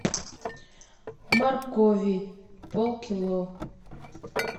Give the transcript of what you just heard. моркови пол кило